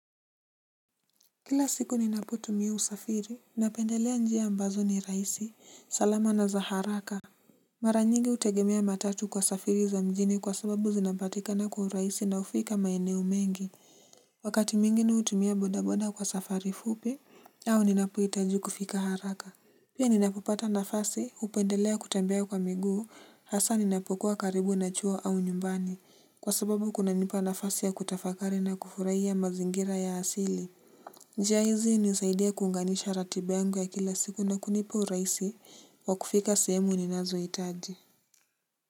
Kila siku ninapotumia usafiri, napendelea njia ambazo ni rahisi, salama na za haraka. Mara nyingi hutegemea matatu kwa safiri za mjini kwa sababu zinapatikana kwa rahisi na ufika maeneo mengi. Wakati mwingini hutumia bodaboda kwa safari fupi, au ninapohitaji kufika haraka. Pia ninapopata nafasi, hupendelea kutembia kwa miguu, hasa ninapokuwa karibu na chuo au nyumbani, kwa sababu kunanipa nafasi ya kutafakari na kufurahi ya mazingira ya asili. Njia hizi hunisaidia kuunganisha ratiba yangu ya kila siku na kunipa urahisi wa kufika semu ninazo hitaji.